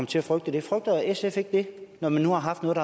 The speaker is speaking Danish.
til at frygte det frygter sf ikke det når man nu har haft noget